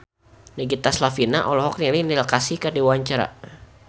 Nagita Slavina olohok ningali Neil Casey keur diwawancara